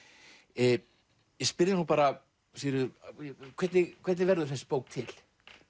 ég spyr þig nú bara Sigríður hvernig hvernig verður þessi bók til